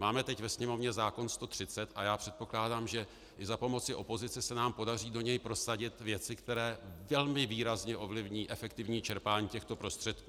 Máme teď ve Sněmovně zákon 130 a já předpokládám, že za pomoci opozice se nám podaří do něj prosadit věci, které velmi výrazně ovlivní efektivní čerpání těchto prostředků.